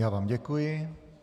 Já vám děkuji.